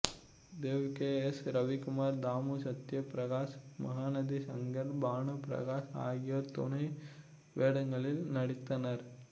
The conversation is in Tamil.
தேவ் கே எஸ் ரவிக்குமார் தாமு சத்ய பிரகாஷ் மகாநதி சங்கர் பானு பிரகாஷ் ஆகியோர் துணை வேடங்களில் நடித்தனர்